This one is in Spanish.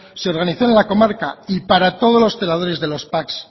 se organizó en la comarca y para todos los celadores de los pac